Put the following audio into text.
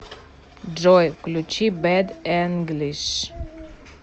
джой включи бэд энглиш